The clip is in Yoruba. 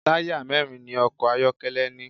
Táyà mẹ́rin ni ọkọ̀ ayọ́kẹ́lẹ́ ní.